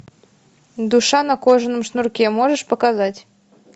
душа на кожаном шнурке можешь показать